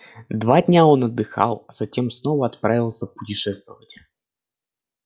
два дня он отдыхал а затем снова отправился путешествовать